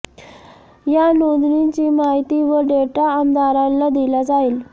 या नोंदणीची माहिती व डेटा आमदारांना दिला जाईल